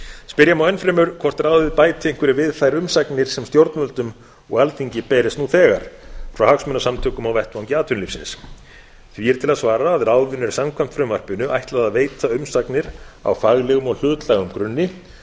spyrja má enn fremur hvort ráðið bæti einhverju við þær umsagnir sem stjórnvöldum og alþingi berist nú þegar frá hagsmunasamtökum á vettvangi atvinnulífsins því er til að svara að ráðinu er samkvæmt frumvarpinu ætlað að veita umsagnir á faglegum og hlutlægum grunni